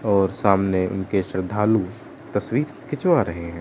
और सामने उनके श्रद्धालु तस्वीर खिंचवाया रहे है।